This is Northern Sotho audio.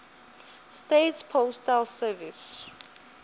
states postal service